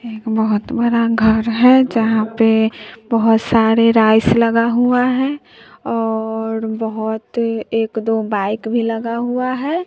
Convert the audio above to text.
एक बहोत बड़ा घर है जहां पे बहुत सारे राइस लगा हुआ हैं और बहोत एक-दो बाइक भी लगा हुआ है।